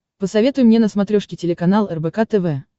посоветуй мне на смотрешке телеканал рбк тв